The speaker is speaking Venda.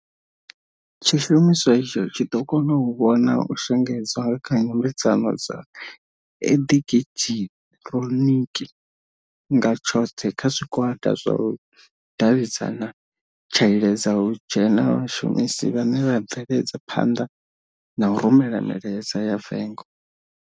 Tshishumiswa itsho tshi ḓo kona u vhona u shengedzwa nga kha nyambedzano dza eḓekiḓhironiki nga tshoḓhe kha zwigwada zwa u davhidzana tsha iledza u dzhena vhashumisi vhane vha bveledza phanḓa na u rumela milaedza ya vengo.